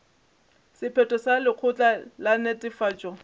sephetho sa lekgotla la netefatšo